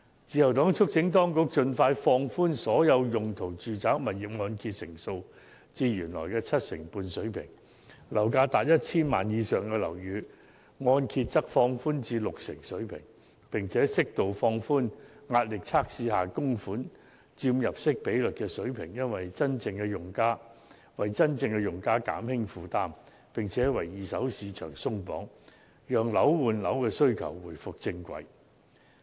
自由黨促請當局盡快放寬所有用途的住宅物業按揭成數至原來的七成水平，而樓價達 1,000 萬元或以上的樓宇的按揭成數則放寬至六成水平，並適度放寬壓力測試下供款佔入息比率的水平，為真正的用家減輕負擔，也為二手市場鬆綁，讓樓換樓的需求回復正軌。